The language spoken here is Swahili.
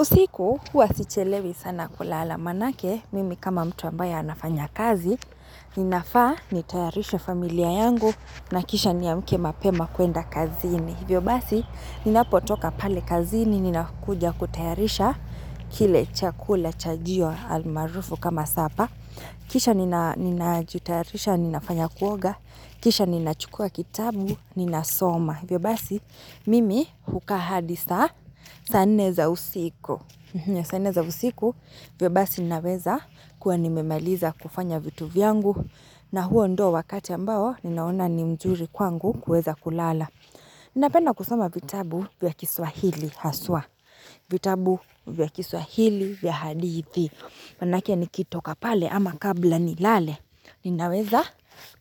Usiku kuwa sichelewi sana kulala manake, mimi kama mtu ambaye anafanya kazi, ninafaa, nitayarishe familia yangu, na kisha niamuke mapema kuenda kazini. Hivyo basi, ninapotoka pale kazini, ninakuja kutayarisha, kile chakula, chajio, almaarufu kama sapa. Kisha ninajitayarisha, ninafanya kuoga, kisha ninachukua kitabu, ninasoma. Hivyo basi, mimi hukaa hadi saa, saa nne za usiku. Ya saa nne za usiku hivyo basi ninaweza kuwa nimemaliza kufanya vitu vyangu na huo ndo wakati ambao ninaona ni mzuri kwangu kuweza kulala. Ninapenda kusoma vitabu vya kiswahili haswa. Vitabu vya kiswahili vya hadithi. Manake nikitoka pale ama kabla nilale. Ninaweza